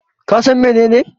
Ka San menene?